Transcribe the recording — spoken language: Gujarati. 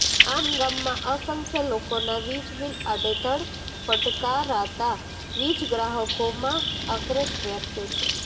આમ ગામમાં અસંખ્ય લોકોના વિજબીલ આડેધડ ફટાકારાતા વીજગ્રાહકોમાં આક્રોશ વ્યાપ્યો છેે